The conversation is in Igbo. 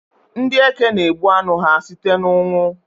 Ndị Eke na-egbu anụ ha site n'ụnwụ